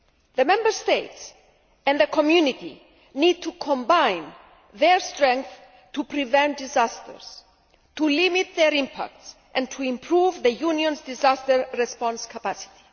The Member States and the Community need to combine their strengths to prevent disasters, to limit their impacts and to improve the Union's disaster response capacity.